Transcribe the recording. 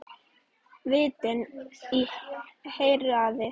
Vitni í héraði.